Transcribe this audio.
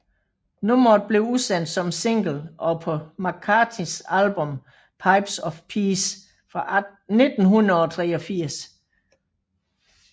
Nummeret blev udsendt som single og på McCartneys album Pipes of Peace fra 1983